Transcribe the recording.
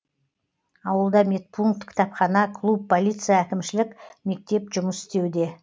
ауылда медпункт кітапхана клуб полиция әкімшілік мектеп жұмыс істеуде